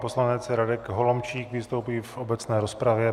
Poslanec Radek Holomčík vystoupí v obecné rozpravě.